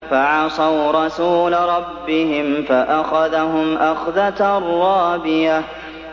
فَعَصَوْا رَسُولَ رَبِّهِمْ فَأَخَذَهُمْ أَخْذَةً رَّابِيَةً